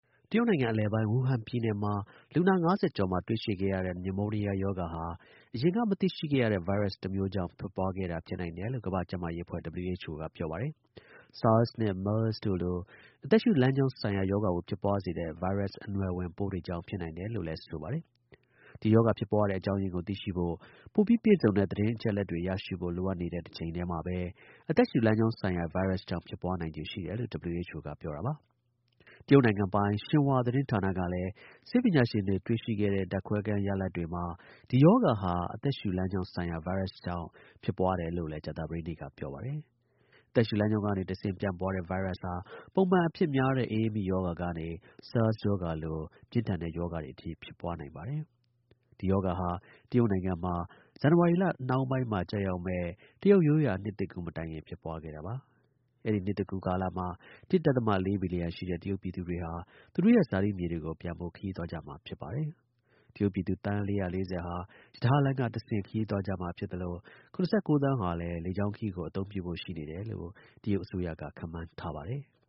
တရုတ်နိုင်ငံ အလယ်ပိုင်း ဝူဟန်ပြည်နယ်မှာ လူနာ ၅၀ ကျော်မှာ တွေ့ရှိရတဲ့ pneumonia ရောဂါဟာ အရင်က မသိရှိခဲ့ရတဲ့ ဗိုင်းရပ်စ် တစ်မျိုးကြောင်း ဖြစ်ပွားခဲ့တာ ဖြစ်နိုင်တယ်လို့ ကမ္ဘာ့ကျန်းမာရေးအဖွဲ့ (WHO) က ပြောပါတယ်။ SARS နဲ့ MERS တို့လို့ အသက်ရှူလမ်းကြောင်းဆိုင်ရာ ရောဂါကို ဖြစ်ပွားစေတဲ့ ဗိုင်းရပ်စ် အနွယ်ဝင်ပိုးတွေကြောင့် ဖြစ်နိုင်တယ်လို့ ဆိုပါတယ်။ ဒီရောဂါ ဖြစ်ပွားရတဲ့ အကြောင်းအရင်းကို သိရှိဖို့ ပိုပြီး ပြည့်စုံတဲ့ သတင်း အချက်အလက်တွေ ရရှိဖို့ လိုအပ်နေတဲ့တစ်ချိန်တည်းမှာပဲ အသက်ရှူလမ်းကြောင်းဆိုင်ရာ ဗိုင်းရပ်စ်ကြောင့် ဖြစ်ပွားနိုင်ချေရှိတယ်လို့ WHO က ပြောပါတယ်။ တရုတ်နိုင်ငံပိုင် Xinhuaသတင်းဌာနကလည်းဆေးပညာရှင်တွေ တွေ့ရှိခဲ့တဲ့ ဓါတ်ခွဲခန်း ရလဒ်တွေမှာ ဒီရောဂါဟာအသက်ရှူလမ်း ကြောင်း ဆိုင်ရာ ဗိုင်းရပ်စ်ကြောင့် ဖြစ်ပွားတယ်လို့လည်း ကြာသပတေးနေ့က ပြောပါတယ်။ အသက်ရှူလမ်းကြောင်းကနေတစ်ဆင့် ပြန့်ပွားတဲ့ ဗိုင်းရပ်စ်ဟာ ပုံမှန် အဖြစ်များတဲ့ အအေးမိ ရောဂါကနေ SARS ရောဂါလို ပြင်းထန်တဲ့ ရောဂါတွေ အထိ ဖြစ်ပွားနိုင်ပါတယ်။ ဒီ ရောဂါဟာ တရုတ်နိုင်ငံမှာ ဇန်နဝါရီ နှောင်းပိုင်းမှာ ကျရောက်မယ့် တရုတ် ရိုးရာ နှစ်သစ်ကူး မတိုင်ခင် ဖြစ်ပွားခဲ့တာပါ။ အဲဒီ နှစ်သစ်ကူးကာလမှာ ၁.၄ ဘီလီယံရှိတဲ့ တရုတ် ပြည်သူတွေဟာ သူတို့ရဲ့ ဇာတိမြို့တွေကို ပြန်ဖို့ ခရီးသွားကြမှာ ဖြစ်ပါတယ်။ တရုတ်ပြည်သူ သန်း ၄၄၀ ဟာ ရထားလမ်းကတဆင့် ခရီးသွားကြမှာ ဖြစ်သလို ၇၉ သန်းဟာ လေကြောင်းခရီးကို အသုံးပြုဖို့ ရှိနေတယ်လို့ တရုတ် အစိုးရက ခန့်မှန်းထားပါတယ်။